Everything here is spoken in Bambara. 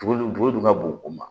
Tuguli dun bɔgɔ dun ka bon o ma